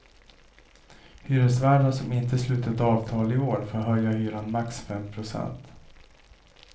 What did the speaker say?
Hyresvärdar som inte slutit avtal i år får höja hyran max fem procent.